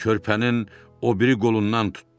Körpənin o biri qolundan tutdu.